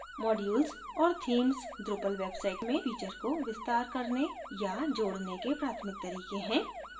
modules और themes drupal website में feature को विस्तार करने या जोडने के प्राथमिक तरीके हैं